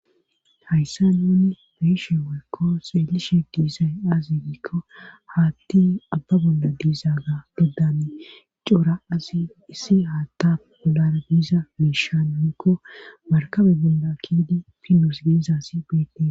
Hayssa nuni meishe weekko seelishe diizay aazi giikko haatti abba bolda diiza ga geddani cora azi issi haatta bolara biiza miishan miekko markabe golda kiidi pinos geizasi beede.